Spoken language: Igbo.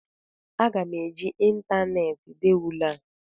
Aga m eji ịntaneetị dee ule a